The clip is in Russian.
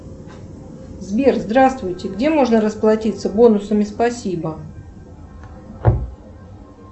сбер здравствуйте где можно расплатиться бонусами спасибо